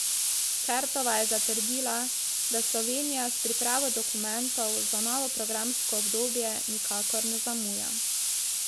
Kertova je zatrdila, da Slovenija s pripravo dokumentov za novo programsko obdobje nikakor ne zamuja.